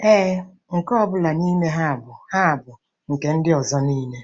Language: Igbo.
Ee, nke ọ bụla n'ime ha bụ ha bụ nke ndị ọzọ niile.